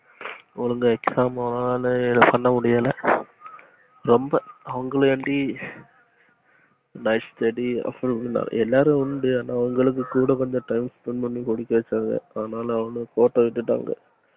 ஒழுங்கா exam hall ல பண்ண முடியல ரொம்ப அவங்கள அண்டி night study அப்புறம் எல்லாரும் உண்டு அவங்களுக்கு கூட கொஞ்சம் time spend பண்ணி படிக்க வச்சாங்க ஆனாலும் அவனுங்க கோட்ட விட்டுடாங்க